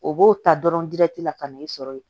O b'o ta dɔrɔn la ka n'i sɔrɔ yen